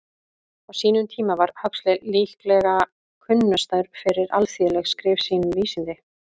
Á sínum tíma var Huxley líklega kunnastur fyrir alþýðleg skrif sín um vísindi.